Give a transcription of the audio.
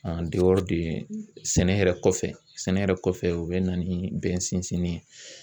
sɛnɛ yɛrɛ kɔfɛ sɛnɛ yɛrɛ kɔfɛ u bɛ na ni bɛn sinsini ye.